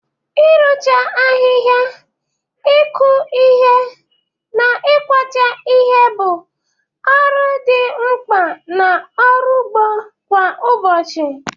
Ịrụcha ahịhịa, ịkụ ihe, na ịkwacha ihe bụ ọrụ dị mkpa na ọrụ ugbo kwa ụbọchị.